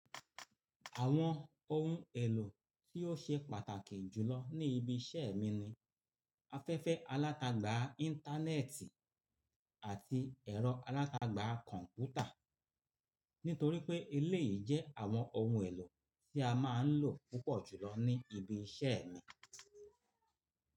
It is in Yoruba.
Àwọn ohun èlò tí ó ṣe pàtàkì jùlọ ní ibi iṣẹ́ mi ni afẹ́fẹ́ alátagbà Íńtánẹ́ẹ̀tì àti ẹ̀rọ alátagbà kọ̀ǹpútà. Nítorí pé eléyìí jẹ́ àwọn ohun èlò tí a máa ń lò púpọ̀ jùlọ ní ibi iṣẹ́ mi.